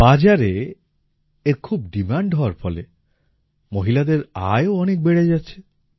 বাজারে এর খুব ডিমান্ড হওয়ার ফলে মহিলাদের আয়ও অনেক বেড়ে যাচ্ছে